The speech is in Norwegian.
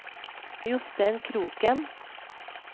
Jostein Kroken